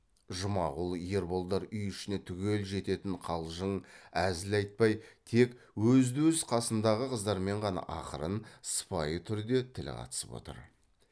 жұмағұл ерболдар үй ішіне түгел жететін қалжың әзіл айтпай тек өзді өз қасындағы қыздармен ғана ақырын сыпайы түрде тіл қатысып отыр